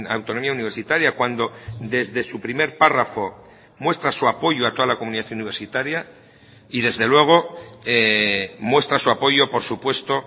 autonomía universitaria cuando desde su primer párrafo muestra su apoyo a toda la comunidad universitaria y desde luego muestra su apoyo por supuesto